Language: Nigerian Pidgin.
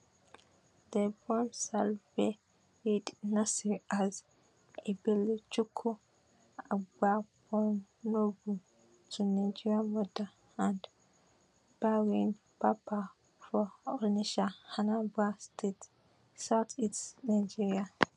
dem born salwa eid naser as ebelechukwu agbapuonwu to nigerian mother and bahrain papa for onitsha anambra state south east nigeria